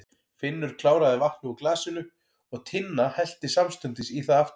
Finnur kláraði vatnið úr glasinu og Tinna hellti samstundis í það aftur.